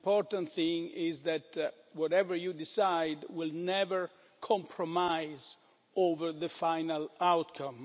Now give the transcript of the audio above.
The important thing is that, whatever you decide, we'll never compromise over the final outcome.